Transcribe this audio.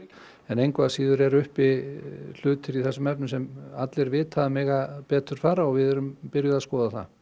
engu að síður eru uppi hlutir í þessum efnum sem allir vita að mega betur fara og við erum byrjuð að skoða það